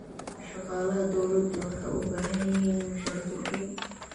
Shaqaalaha dawladdu waxay u baahan yihiin mushahar kordhin.